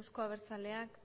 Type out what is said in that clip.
euzko abertzaleak